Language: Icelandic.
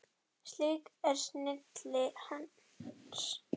Slík er snilli hans.